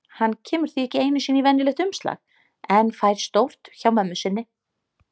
Hann kemur því ekki einu sinni í venjulegt umslag en fær stórt hjá mömmu sinni.